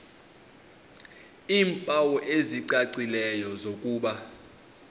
iimpawu ezicacileyo zokuba